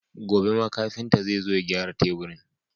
Gobe ma kafinta zai zo ya gyara teburin.